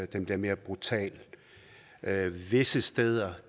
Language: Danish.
den bliver mere brutal visse steder